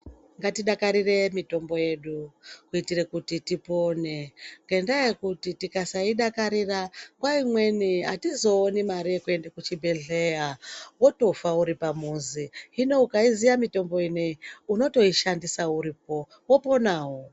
Ngatidakarire mitombo yedu, kuitire kuti tipone, ngendaa yekuti tikasaidakarira ,nguwa imweni atizooni mare yekuti tiende kuchibhedhleya wotofa uri pamuzi. Hino ukaiziya mitombo ineyi, unotoishandisa uripo, woponawo.